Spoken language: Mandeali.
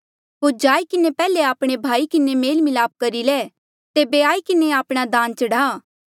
होर जाई किन्हें पैहले आपणे भाई किन्हें मेल मिलाप करी ले तेबे आई किन्हें आपणा दान चढ़ा